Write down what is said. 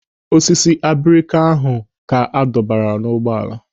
Osisi abrika ahụ ka adọbara ụgbọala.